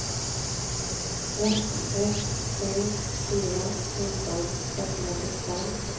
ett ett sju fyra fjorton sexhundrasjuttiofem